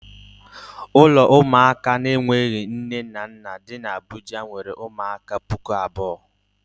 Ụlọ ụmụaka na-enweghi nne na nna dị n' Abuja nwere ụmụaka pụkụ abụọ.